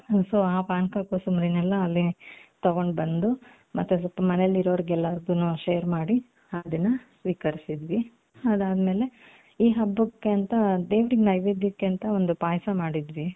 so ಆ ಪಾನಕ ಕೋಸಂಬರಿನ ಅಲ್ಲಿಂದ ತಗೊಂಡ್ ಬಂದು ಮತ್ತೆ ಮನೆಯಲ್ಲಿ ಇರೋರಿಗೆಲ್ಲಾರಿಗೂನು share ಮಾಡಿ ಅದನ್ನ ಸ್ವೀಕರಿಸಿದ್ವಿ ಅದಾದಮೇಲೆ ಈ ಹಬ್ಬಕ್ಕೆ ಅಂತ ದೇವರ ನೈವೇದ್ಯಕ್ಕೆ ಅಂತ ಒಂದು ಪಾಯಸ ಮಾಡಿದ್ವಿ ಅದು